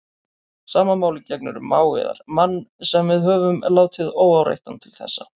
Sama máli gegnir um mág yðar, mann sem við höfum látið óáreittan til þessa.